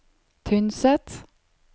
Tynset